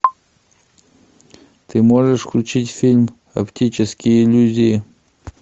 ты можешь включить фильм оптические иллюзии